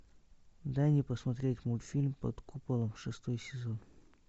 дай мне посмотреть мультфильм под куполом шестой сезон